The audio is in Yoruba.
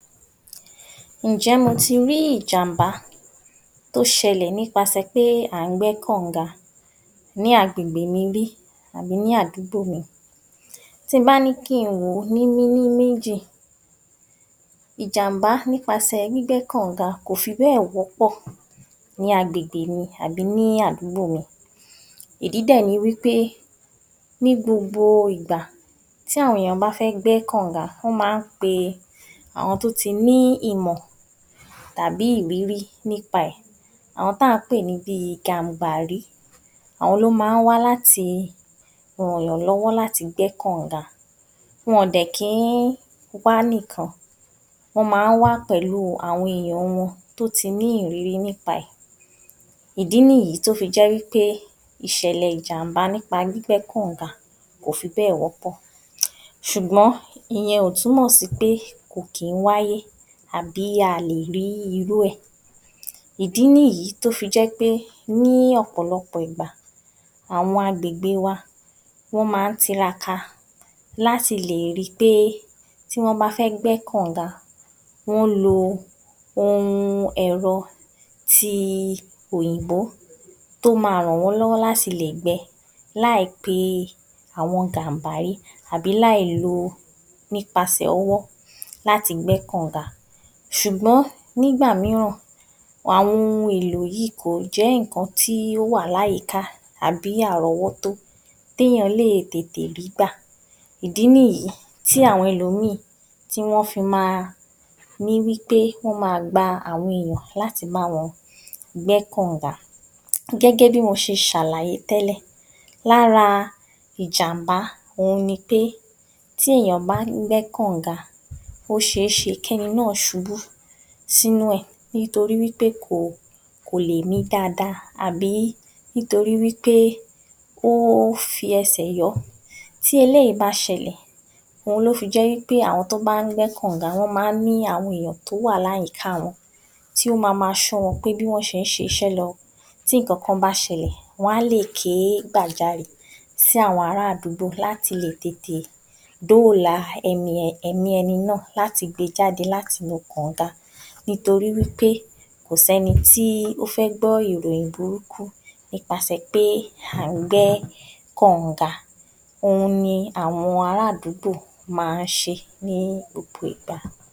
00871 Ǹjé̩ mo ti rí ìjàǹbá tó s̩e̩lè̩ nípasè̩ pé á ń gbé̩ kànǹga ní agbègbè mi rí àbí ní àdúgbò mi? Tí n bá ní kí ń wò ó ní méní-méjì, ìjàǹbá nípasè̩ gbígbé̩ kànǹga kò fi bé̩è̩ wó̩pò̩ ní agbègbè mi àbí ní àdúgbò, ìdí dè̩ ni wí pé ní gbogbo ìgbà tí àwọn èèyàn bá fé̩ gbé̩ kànǹga wó̩n máa ń pe àwo̩n tó ti ní ìmò̩ tàbí ìrírí nípa è̩, àwo̩n táà ń pè ní bi Gàǹbàrí, àwo̩n ló máa ń wá láti rànyànló̩wó̩ láti gbé̩ kànǹga, wo̩n dè̩ kí ń wá nìkan wó̩n máa ń wá pè̩lú àwo̩n èèyàn wo̩n tó ti ní ìrírí nípa è̩. Ìdí nìyí tí ó fi jé̩ wí pé ìs̩è̩lè̩ ìjàǹbá nípa gbígbé̩ kànǹga kò fi bé̩è̩ wó̩pò̩ ṣùgbó̩n ìye̩n ò túmò̩ sí pé kò kí ń wáyé àbí a à lè rí irú è̩. Ìdí nìyí tí ó fi jé̩ pé ní ò̩pò̩lo̩pò̩ ìgbà àwo̩n agbègbè wa wó̩n máa ń tiraka láti lè rí i pé tí wó̩n bá fé̩ gbé̩ kànǹga wó̩n lo ohun è̩ro̩ ti òyìnbó tó máa rànwó̩nló̩wó̩ láti lè gbe̩ láì pe àwo̩n Gàǹbàrí àbí láì lo nípasè̩ o̩wó̩ láti gbé kànǹga. S̩ùgbó̩n nígbà mìíràn, àwo̩n ohun èlò yìí kò ń jé̩ nǹkan tí ó wà láyìíká àbí àró̩wó̩tó téèyàn lè tètè rí gbà. Ìdí nìyí tí àwo̩n e̩lòmíì tí wó̩n fi máa rí wí pé wó̩n máa gba àwo̩n èèyàn láti bá wo̩n gbé̩ kànǹga. Gé̩gé̩ bí mo s̩e s̩àlàyé té̩lè̩, lára ìjàǹbá ohun ni pé tí èèyàn bá ń gbé̩ kànǹga ó s̩e é s̩e kí e̩ni náà s̩ubú sínú è̩ nítorí pé kò lè mí dáadáa àbí nítorí wí pé o fi e̩sè̩ yó̩. Tí eléyìí bá s̩e̩lè̩, ó ló fi jé̩ wí pé àwo̩n tó bá ń gbé̩ kànǹga wó̩n máa ń ni àwo̩n ènìyàn tó wà láyìíká wo̩n tí ó ma máa s̩ó̩ wo̩n bí wó̩n s̩e ń s̩is̩é̩ lo̩, tí nǹkankan bá s̩e̩lè̩ wo̩n á lè ké gbàjarè sí àwo̩n ará àdúgbò láti lè tètè dóòlà è̩mí e̩ni náà láti lè gbe jáde láti inú kànǹga, nítorí wí pé kò sé̩ni tí ó fé̩ gbó̩ ìròyìn burúkú nípasè̩ pé à ń gbé̩ kànǹga, ohun ni àwo̩n ará àdúgbò máa ń s̩e ní gbogbo ìgbà.